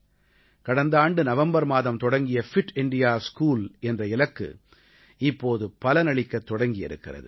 கடந்த ஆண்டு நவம்பர் மாதம் தொடங்கிய ஃபிட் இண்டியா ஸ்கூல் என்ற இலக்கு இப்போது பலனளிக்கத் தொடங்கி இருக்கிறது